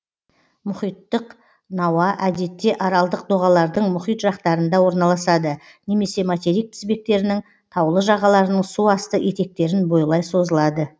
мұхиттық науа әдетте аралдық доғалардың мұхит жақтарында орналасады немесе материк тізбектерінің таулы жағаларының су асты етектерін бойлай созылады